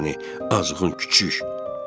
Ay səni azğın küçü.